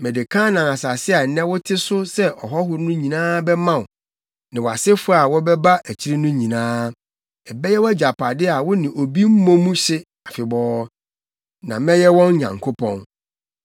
Mede Kanaan asase a nnɛ wote so sɛ ɔhɔho no nyinaa bɛma wo ne wʼasefo a wɔbɛba akyiri no nyinaa. Ɛbɛyɛ wʼagyapade a wo ne obi mmɔ mu hye afebɔɔ. Na mɛyɛ wɔn Nyankopɔn.”